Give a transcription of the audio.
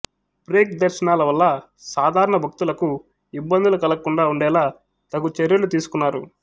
break దర్శనాల వల్ల సాధారణ భక్తులకు ఇబ్బందులు కలగకుండా ఉండేలా తగు చర్యలు తీసుకున్నారు